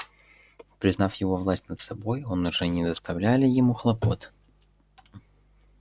признав его власть над собой он уже не доставляли ему хлопот